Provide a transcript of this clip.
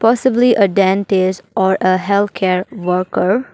Possibly a dentist or a healthcare worker.